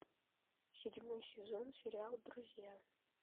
седьмой сезон сериал друзья